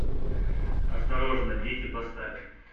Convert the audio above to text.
осторожно дети поставь